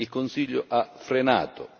Il Consiglio ha frenato.